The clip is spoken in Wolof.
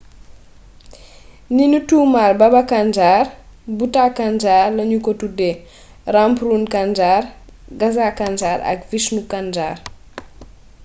ni nu tuumaal baba kanjar bhutha kanjar lanu ko tuddee rampron kanjar gaza kanjar ak vishnu kanjar